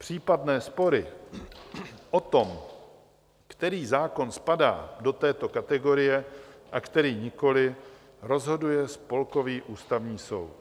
Případné spory o tom, který zákon spadá do této kategorie a který nikoli, rozhoduje Spolkový ústavní soud.